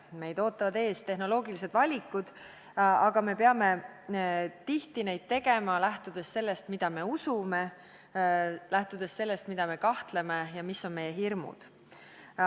Meid ootavad ees tehnoloogilised valikud, aga tihti peame neid tegema lähtudes sellest, mida me usume, ning lähtudes sellest, milles me kahtleme ja mis on meie hirmud.